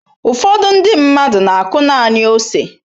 Ụfọdụ ndị mmadụ na-akụ naanị ose.